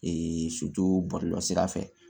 so bɔlɔlɔ sira fɛ